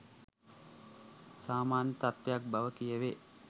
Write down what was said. සාමාන්‍ය තත්වයක් බව කියවේ